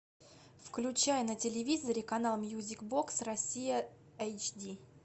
включай на телевизоре канал мьюзик бокс россия эйч ди